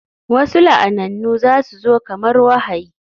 Wasu la'anannu za su zo kamar wahayi